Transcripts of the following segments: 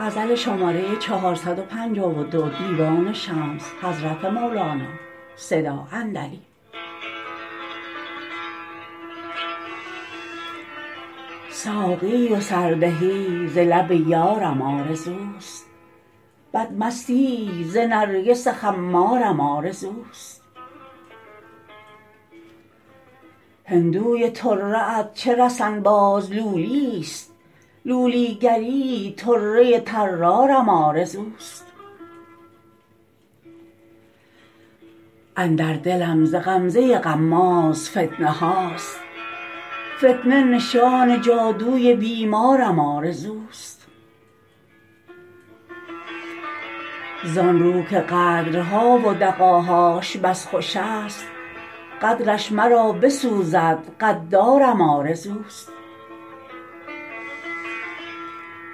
ساقی و سردهی ز لب یارم آرزوست بدمستی ز نرگس خمارم آرزوست هندوی طره ات چه رسن باز لولییست لولی گری طره طرارم آرزوست اندر دلم ز غمزه غماز فتنه هاست فتنه نشان جادوی بیمارم آرزوست زان رو که غدرها و دغاهاش بس خوش ست غدرش مرا بسوزد غدارم آرزوست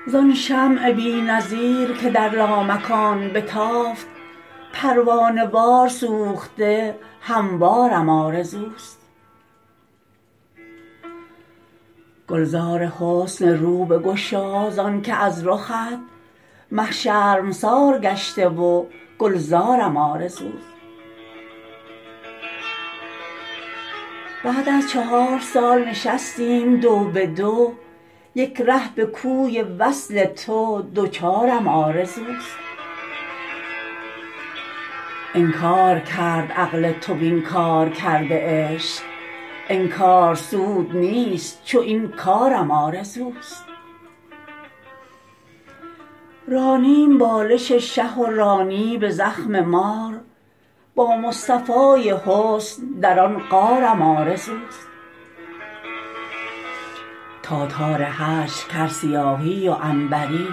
زان شمع بی نظیر که در لامکان بتافت پروانه وار سوخته هموارم آرزوست گلزار حسن رو بگشا زانک از رخت مه شرمسار گشته و گلزارم آرزوست بعد از چهار سال نشستیم دو به دو یک ره به کوی وصل تو دوچارم آرزوست انکار کرد عقل تو وین کار کرده عشق انکار سود نیست چو این کارم آرزوست رانیم بالش شه و رانی به زخم مار با مصطفای حسن در آن غارم آرزوست تاتار هجر کرد سیاهی و عنبری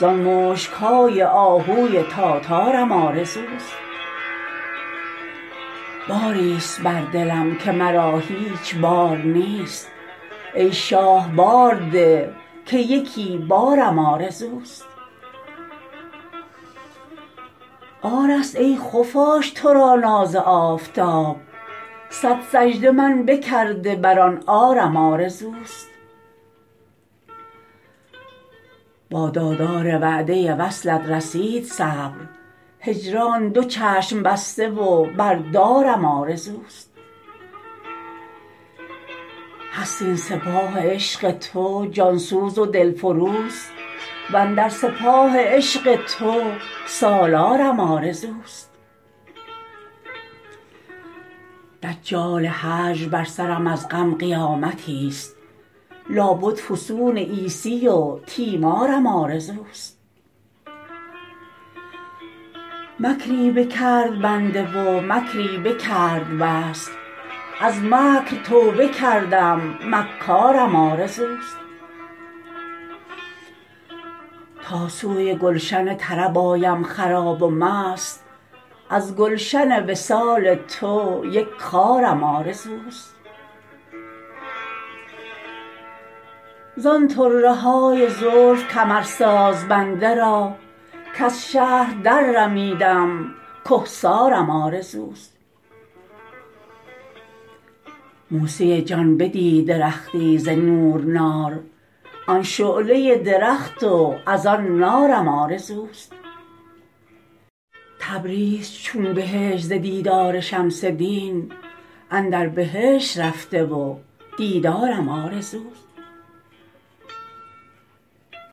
زان مشک های آهوی تاتارم آرزوست باریست بر دلم که مرا هیچ بار نیست ای شاه بار ده که یکی بارم آرزوست عارست ای خفاش تو را ناز آفتاب صد سجده من بکرده بر آن عارم آرزوست با داردار وعده وصلت رسید صبر هجران دو چشم بسته و بر دارم آرزوست هست این سپاه عشق تو جان سوز و دلفروز و اندر سپاه عشق تو سالارم آرزوست دجال هجر بر سرم از غم قیامتیست لابد فسون عیسی و تیمارم آرزوست مکری بکرد بنده و مکری بکرد وصل از مکر توبه کردم مکارم آرزوست تا سوی گلشن طرب آیم خراب و مست از گلشن وصال تو یک خارم آرزوست زان طره های زلف کمرساز بنده را کز شهر دررمیدم کهسارم آرزوست موسی جان بدید درختی ز نور نار آن شعله درخت و از آن نارم آرزوست تبریز چون بهشت ز دیدار شمس دین اندر بهشت رفته و دیدارم آرزوست